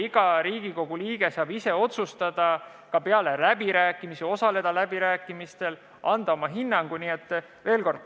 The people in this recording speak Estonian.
Iga Riigikogu liige saab osaleda läbirääkimistel, anda oma hinnangu.